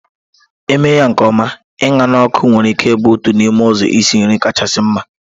Eme ya nke ọma, Ịña na ọkụ nwere ike ịbụ otu n'ime ụzọ isi nri kachasị mma.